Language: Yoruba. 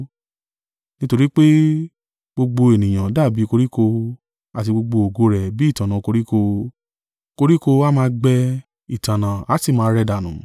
Nítorí pé, “Gbogbo ènìyàn dàbí koríko, àti gbogbo ògo rẹ̀ bi ìtànná koríko. Koríko á máa gbẹ ìtànná a sì máa rẹ̀ dànù,